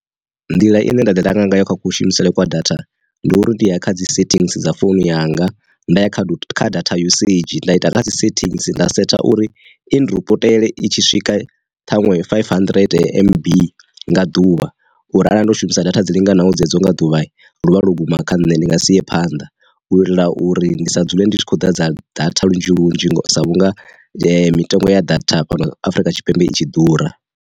Nḓila ine nda ḓi langa ngayo kha kushumisele kwa data, ndi uri ndi ya kha dzi settings dza founu yanga nda ya kha kha data usage nda ita nga dzi sethings nda setha uri inripotele i tshi swika ṱhaṅwe five hundred m_b nga ḓuvha uri arali ndo shumisa data dzi linganaho dzedzo nga ḓuvha lu vha lu guma kha nṋe ndi nga si phanḓa, u itela uri ndi sa dzule ndi khou ḓa dza data lunzhi lunzhi sa vhunga mitengo ya data fhano Afrika Tshipembe i tshi ḓura.